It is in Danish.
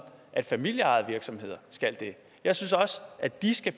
at familieejede virksomheder skal det jeg synes også at de skal